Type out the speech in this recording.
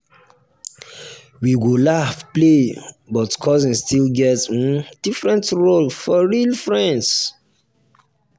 we go laugh play but cousins still get um different role from real friends.